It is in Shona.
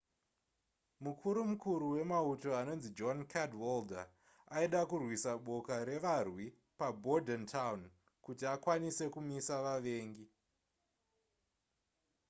mukuru mukuru wemauto anonzi john cadwalder aida kurwisa boka revarwi pabordentown kuti akwanise kumisa vavengi